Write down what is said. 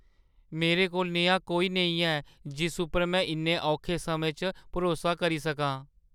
मेरे कोल नेहा कोई नेईं ऐ जिस उप्पर में इन्ने औखे समें च भरोसा करी सकां।